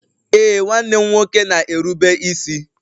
Ee, nwanne m nwoke na-erube isi